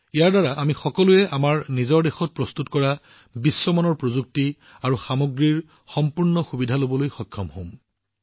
ইয়াৰ দ্বাৰা আমি সকলোৱে আমাৰ নিজৰ দেশত প্ৰস্তুত কৰা বিশ্বমানৰ প্ৰযুক্তি আৰু সামগ্ৰীৰ সম্পূৰ্ণ সুবিধা লবলৈ সক্ষম হম